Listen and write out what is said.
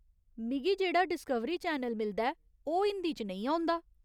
मिगी जेह्ड़ा Discovery channel मिलदा ऐ ओह् हिंदी च नेईं औंदा ।